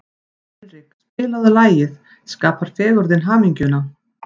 Hinrik, spilaðu lagið „Skapar fegurðin hamingjuna“.